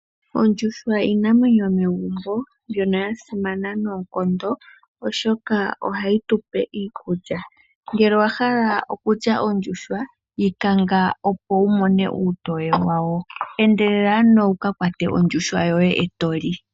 Ondjuhwa iinamwenyo yomegumbo mbyono yasimana noonkondo oshoka ohayi tupe iikulya. Ngele owahala kulya ondjuhwa yikanga opo wu mone uutoye wawo, endelela ano wuka kwate ondjuhwa yoye etoli.